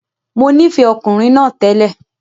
Mo nífẹ̀ẹ́ ọkùnrin náà télè.